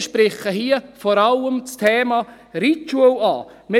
Ich spreche hier vor allem das Thema Reitschule an.